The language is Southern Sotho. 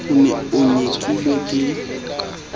o ne o nyekilwe ke